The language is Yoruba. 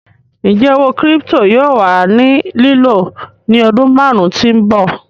Ńjẹ̀ òwó kírípítò yóò wà ní lìló ní ọdún máàrùn tí n bọ̀?